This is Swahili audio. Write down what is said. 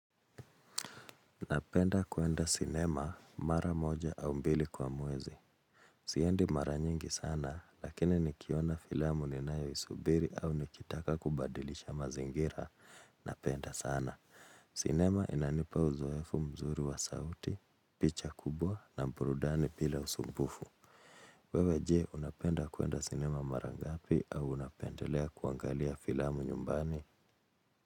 Napenda kuenda cinema mara moja au mbili kwa mwezi. Siendi mara nyingi sana, lakini nikiona filamu ninae subiri au nikitaka kubadilisha mazingira, napenda sana. Cinema inanipa uzoefu mzuri wa sauti, picha kubwa na burudani bila usumbufu. Wewe jee, unapenda kuenda cinema mara ngapi au unapendelea kuangalia filamu nyumbani.